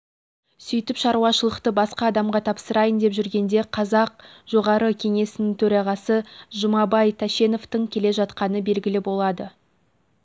сөйтіп шаруашылықты басқа адамға тапсырайын деп жүргенде қазақ жоғарғы кеңесінің төрағасы жұмабай тәшеновтың келе жатқаны белгілі болады